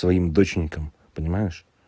своим доченькам понимаешь